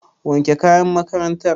Wanke kayan makarantar.